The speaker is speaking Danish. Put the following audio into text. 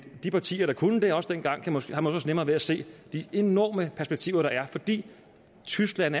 de partier der kunne det også dengang har måske også nemmere ved at se de enorme perspektiver der er fordi tyskland